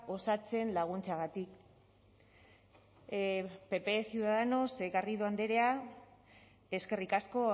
osatzen laguntzeagatik pp ciudadanos garrido andrea eskerrik asko